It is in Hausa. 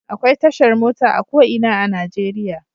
Akwai tashar mota a ko ina a Najeriya.